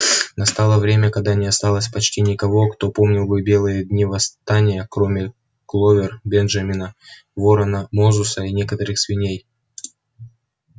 настало время когда не осталось почти никого кто помнил бы белые дни восстания кроме кловер бенджамина ворона мозуса и некоторых свиней